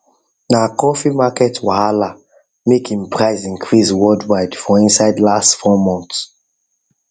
na coffee market wahala make him price increase worldwide for inside last 4 months